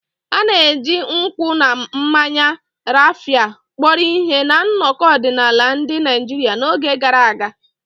A na-eji nkwụ na mmanya Raphia kpọrọ ihe na nnọkọ ọdịnala ndị Naijiria n'oge gara aga.